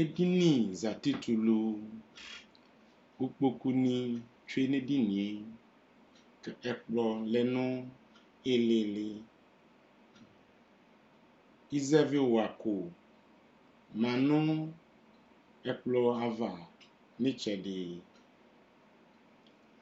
Edini zati tɛ ulu kʋ kpokunɩ tsue nʋ edini yɛ kʋ ɛkplɔ lɛ nʋ ɩɩlɩ ɩɩlɩ Ɩzɛvɩwako ma nʋ ɛkplɔ ava nʋ ɩtsɛdɩ